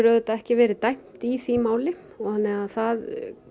auðvitað ekki verið dæmt í því máli þannig að það